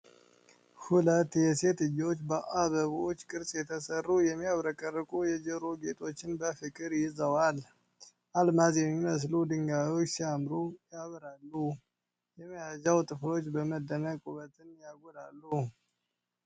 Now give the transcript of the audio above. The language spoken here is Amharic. ሁለት የሴት እጆች በአበቦች ቅርጽ የተሰሩ የሚያብረቀርቁ የጆሮ ጌጦችን በፍቅር ይዘዋል። አልማዝ የሚመስሉ ድንጋዮች ሲያምሩ ያበራሉ፣ የመያዣው ጥፍሮች በመደነቅ ውበቱን ያጎላሉ።